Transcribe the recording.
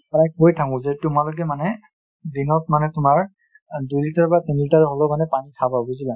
কৈ থাকো যে , তোমালোকে মানে দিনত মানে তোমাৰ দুই লিটাৰ বা তিন লিটাৰ পানী খাবা বুজিলা |